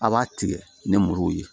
A' b'a tigɛ ni muru ye